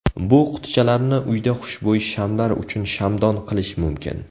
Bu qutichalarni uyda xushbo‘y shamlar uchun shamdon qilish mumkin.